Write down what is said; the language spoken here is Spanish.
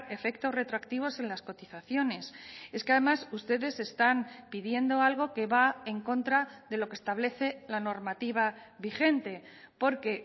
efectos retroactivos en las cotizaciones es que además ustedes están pidiendo algo que va en contra de lo que establece la normativa vigente porque